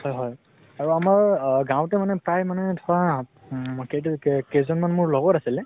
হয় হয় । আৰু আমাৰ আহ গাৱঁতে মানে প্ৰায় মানে উম কেই তাৰিখ কে কেইজন মান মোৰ লগৰ আছিলে